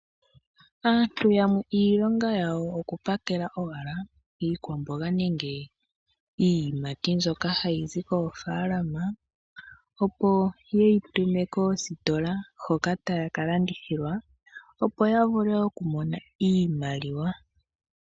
Aantu yamwe iilonga yawo okupakela iikwamboga nenge iiyimati, mbyoka hayizi koofaalama, opo wuyi tume koositola hoka tayi ka landithilwa, opo yavule okumona iimaliwa.